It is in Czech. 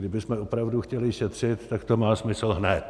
Kdybychom opravdu chtěli šetřit, tak to má smysl hned.